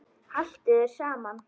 Haltu þér saman